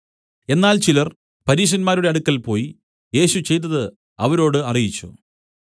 എന്നാൽ ചിലർ പരീശന്മാരുടെ അടുക്കൽ പോയി യേശു ചെയ്തതു അവരോട് അറിയിച്ചു